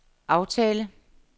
aftale